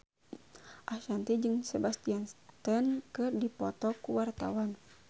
Ashanti jeung Sebastian Stan keur dipoto ku wartawan